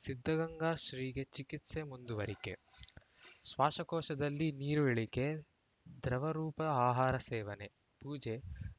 ಸಿದ್ಧಗಂಗಾ ಶ್ರೀಗೆ ಚಿಕಿತ್ಸೆ ಮುಂದುವರಿಕೆ ಶ್ವಾಸಕೋಶದಲ್ಲಿ ನೀರು ಇಳಿಕೆ ದ್ರವರೂಪದ ಆಹಾರ ಸೇವನೆ ಪೂಜೆ